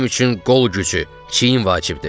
Mənim üçün qol gücü, çiyin vacibdir.